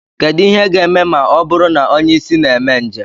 Kedu ihe ga-eme ma ọ bụrụ na onye isi na mee njem